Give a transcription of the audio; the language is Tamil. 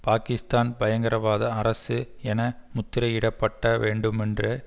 பாக்கிஸ்தான் பயங்கரவாத அரசு என முத்திரையிடப்பட்ட வேண்டுமென்று